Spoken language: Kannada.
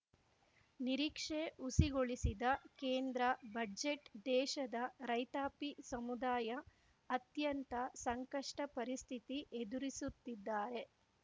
ನಿರೀಕ್ಷೆ ಹುಸಿಗೊಳಿಸಿದ ಕೇಂದ್ರ ಬಡ್ಜೆಟ್‌ ದೇಶದ ರೈತಾಪಿ ಸಮುದಾಯ ಅತ್ಯಂತ ಸಂಕಷ್ಟಪರಿಸ್ಥಿತಿ ಎದುರಿಸುತ್ತಿದ್ದಾರೆ